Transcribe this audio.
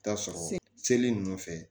Taa sɔrɔ seli ninnu fɛ